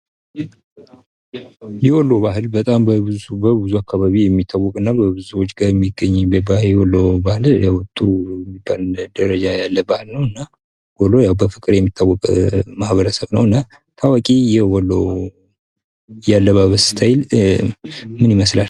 የወሎ ባህል በጣም በብዙ አካባቢ የሚታወቅና የሚገኝ ደረጃ የሚገኝና ወሎ ያው በፍቅር የሚታወቀ ማህበረሰብ ነው። ታዋቂ የወሎ የአለባበስ ስታይል ምን ይባላል?